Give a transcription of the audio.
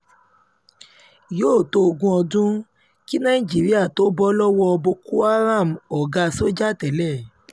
yóò tó ogún ọdún kí nàìjíríà tóó bọ́ lọ́wọ́ boko haramoga sójà tẹ́lẹ̀